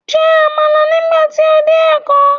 Jẹ Àmàlà nígbà tí o dé èkó